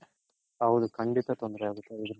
ಹೌದು ಖಂಡಿತ ತೊಂದ್ರೆ ಆಗುತ್ತೆ